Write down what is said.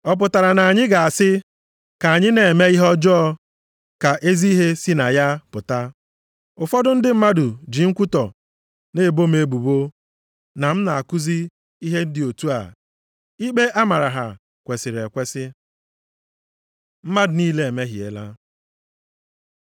Ọ pụtara na anyị ga-asị, “ka anyị na-eme ihe ọjọọ ka ezi ihe si na ya pụta”? Ụfọdụ ndị mmadụ ji nkwutọ na-ebo m ebubo na m na-akụzi ihe dị otu a, ikpe a mara ha kwesiri ekwesi. Mmadụ niile emehiela